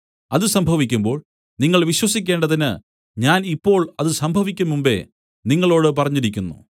അത് സംഭവിക്കുമ്പോൾ നിങ്ങൾ വിശ്വസിക്കേണ്ടതിന് ഞാൻ ഇപ്പോൾ അത് സംഭവിക്കുംമുമ്പെ നിങ്ങളോടു പറഞ്ഞിരിക്കുന്നു